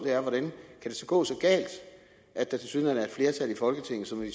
kan gå så galt at der tilsyneladende er et flertal i folketinget som når